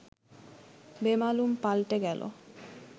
বেমালুম পাল্টে গেল